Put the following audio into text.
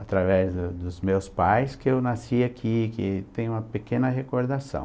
Através dos meus pais que eu nasci aqui, que tem uma pequena recordação.